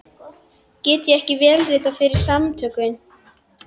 Get ég ekki vélritað fyrir Samtökin?